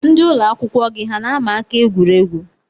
Ndị ụlọakwụkwọ gị hà na-ama aka egwuregwu?